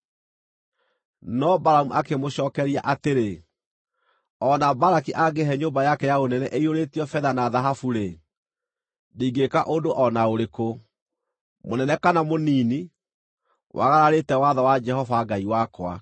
No Balamu akĩmacookeria atĩrĩ, “O na Balaki angĩĩhe nyũmba yake ya ũnene ĩiyũrĩtio betha na thahabu-rĩ, ndingĩĩka ũndũ o na ũrĩkũ, mũnene kana mũnini, wagararĩte watho wa Jehova Ngai wakwa.